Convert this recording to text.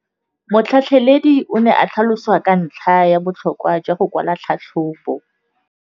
Motlhatlheledi o ne a tlhalosa ka ntlha ya botlhokwa jwa go kwala tlhatlhôbô.